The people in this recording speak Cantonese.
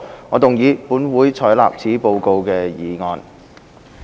我動議"本會採納此報告"的議案。